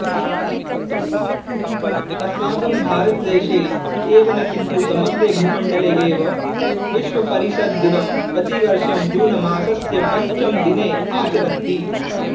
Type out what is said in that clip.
अस्माकं भारतदेशे एव न किन्तु समग्रे भूमण्डले एव विश्वपरिसरदिनम् प्रतिवर्षं जूनमासस्य पञ्चमदिने आचरन्ति